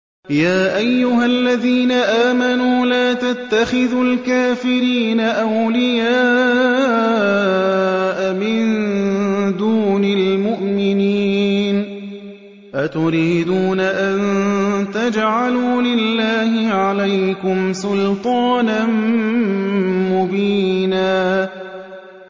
يَا أَيُّهَا الَّذِينَ آمَنُوا لَا تَتَّخِذُوا الْكَافِرِينَ أَوْلِيَاءَ مِن دُونِ الْمُؤْمِنِينَ ۚ أَتُرِيدُونَ أَن تَجْعَلُوا لِلَّهِ عَلَيْكُمْ سُلْطَانًا مُّبِينًا